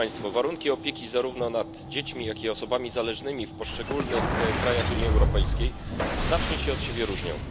Warunki opieki zarówno nad dziećmi, jak i osobami zależnymi w poszczególnych krajach Unii Europejskiej znacznie się od siebie różnią.